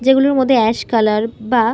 যেগুলোর মধ্যে ash colour বা--